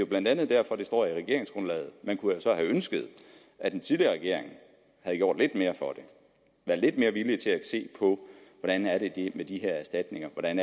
blandt andet derfor at det står i regeringsgrundlaget man kunne så have ønsket at den tidligere regering havde gjort lidt mere for det været lidt mere villige til at se på hvordan det er med de her erstatninger hvordan